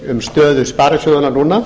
um stöðu sparisjóðanna núna